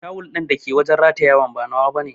Tawul dake wajen ratayan ba nawa bane.